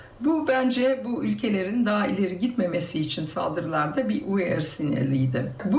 Bu bəncə bu ölkələrin daha ileri gitməməsi üçün saldırılarda bir uyarı sineliydi.